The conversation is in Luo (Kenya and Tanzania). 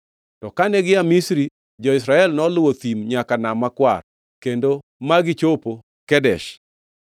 To kane gia Misri, jo-Israel noluwo thim nyaka Nam Makwar kendo ma gichopo Kadesh.